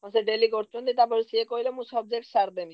ହଁ ସେ daily କରୁଛନ୍ତି। ତାପରେ ସିଏ କହିଲେ ମୁଁ subjects ସାରିଦେବି।